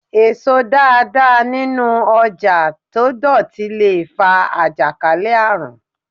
Èso dáadáa nínú ọjà tó dọ̀tí le fa àjàkálẹ̀ àrùn.